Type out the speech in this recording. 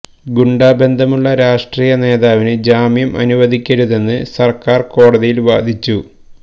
ഗുണ്ടാ ബന്ധമുള്ള രാഷ്ട്രീയ നേതാവിന് ജാമ്യം അനുവദിക്കരുതെന്ന് സര്ക്കാര് കോടതിയില് വാദിച്ചു